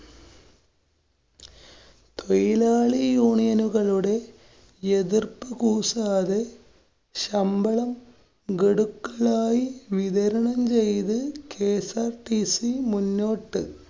തൊഴിലാളി union നുകളുടെ എതിര്‍പ്പു കൂസാതെ ശമ്പളം ഗഡുക്കളായി വിതരണം ചെയ്ത് KSRTC മുന്നോട്ട്.